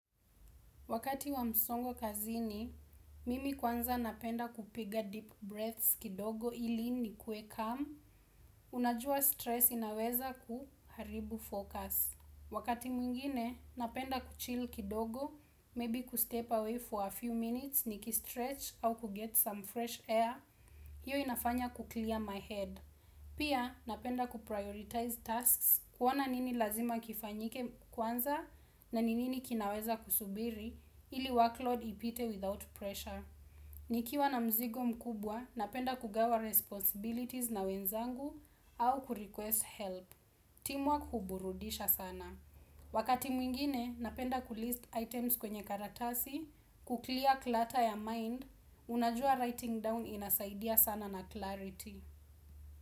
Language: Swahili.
Wakati wa msongo kazini, mimi kwanza napenda kupiga deep breaths kidogo ili ni kue calm, unajua stress inaweza kuharibu focus. Wakati mwingine, napenda kuchil kidogo, maybe kustep away for a few minutes ni kistretch au kuget some fresh air, hiyo inafanya kuclear my head. Pia, napenda kuprioritize tasks kuona nini lazima kifanyike kwanza na ni nini kinaweza kusubiri ili workload ipite without pressure. Nikiwa na mzigo mkubwa, napenda kugawa responsibilities na wenzangu au kurequest help. Team work huburudisha sana. Wakati mwingine, napenda kulist items kwenye karatasi, kuklia klata ya mind, unajua writing down inasaidia sana na clarity.